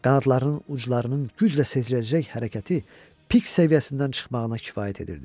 Qanadlarının uclarının güclə seziləcək hərəkəti pik səviyyəsindən çıxmağına kifayət edirdi.